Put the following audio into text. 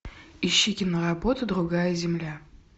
ищи киноработу другая земля